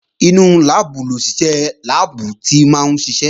Inú láàbù lòṣìṣẹ́ láàbù tí máa ń ṣiṣẹ́